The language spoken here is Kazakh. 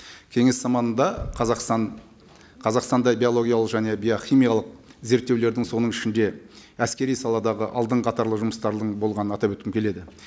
кеңес заманында қазақстан қазақстанда биологиялық және биохимиялық зерттеулердің соның ішінде әскери саладағы алдынғы қатарлы жұмыстары болғанын атап өткім келеді